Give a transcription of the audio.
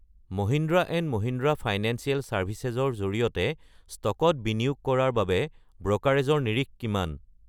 Mahindra and Mahindra financial services ৰ জৰিয়তে ষ্টকত বিনিয়োগ কৰাৰ বাবে ব্ৰ'কাৰেজৰ নিৰিখ কিমান?